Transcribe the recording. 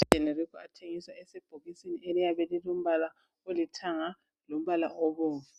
Amaphilisi eGenerico athengiswa esebhokisini eliyabe lilombala olithanga lombala obomvu.